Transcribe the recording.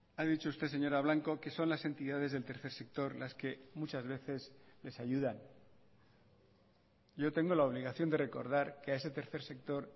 ha dicho usted señora blanco que son las entidades del tercer sector las que muchas veces les ayudan yo tengo la obligación de recordar que a ese tercer sector